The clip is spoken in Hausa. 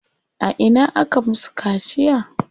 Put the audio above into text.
A ina aka musu kaciya?